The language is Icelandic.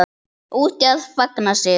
Úti að fagna sigri.